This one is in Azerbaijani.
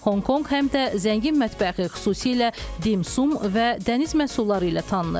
Honkonq həm də zəngin mətbəxi, xüsusilə Dimsun və dəniz məhsulları ilə tanınır.